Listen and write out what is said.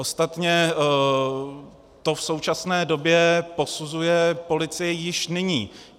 Ostatně to v současné době posuzuje policie již nyní.